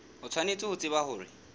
o tshwanetse ho tseba hore